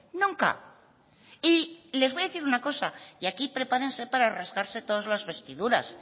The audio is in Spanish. nunca y les voy a decir una cosa y aquí prepárense para rasgarse todas las vestiduras